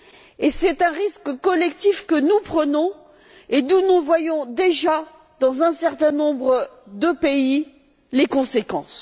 Et c'est un risque collectif que nous prenons et dont nous voyons déjà, dans un certain nombre de pays, les conséquences.